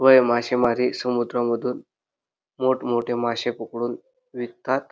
व हे मासेमारी समुद्रामधून मोठ मोठे मासे पकडून विकतात.